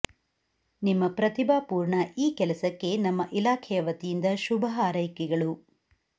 ನಿಮ್ಮ ಪ್ರತಿಭಾಪೂರ್ಣ ಈ ಕೆಲಸಕ್ಕೆ ನಮ್ಮ ಇಲಾಖೆಯ ವತಿಯಿಂದ ಶುಭ ಹಾರೈಕೆಗಳು